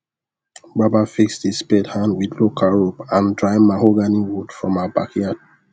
baba fix the spade hand with local rope and dry mahogany wood from our backyard